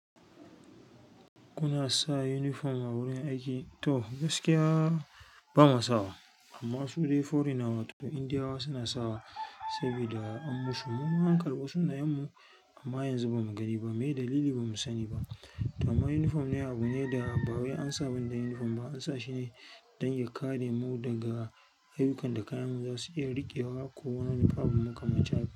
Kuna sa uniform a wurin aiki? To gaskiya ba mu sawa amma su dai foreigner wato Indiyawa suna sawa saboda an musu. Mu an karɓi sunayenmu ama yanzu ba mu gani ba mai dalili ba mu sani ba to amma uniform ne abu ne da ba wai ansa wanda uniform ba, ansa shine don ya kare mu daga ayyukan da kayanmu zasu iya riƙewa ko wani abu makamanci haka.